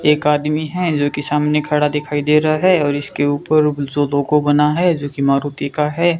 एक आदमी है जोकि सामने खड़ा दिखाई दे रहा है और इसके ऊपर कुछ लोगों बना है जोकि मारुति का है।